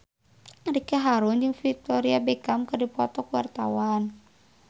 Ricky Harun jeung Victoria Beckham keur dipoto ku wartawan